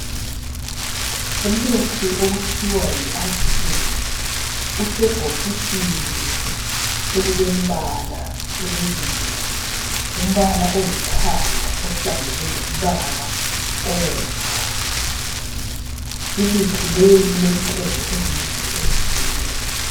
Umuthi okuthiwa yi Aspirin ,usebhokisini elilembala emibili .Umbala olithanga ohlangene lombala obomvu ,imithi leyi ilentengo ezimbili ezitshiyeneyo.